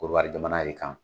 Korowari jamana re kan.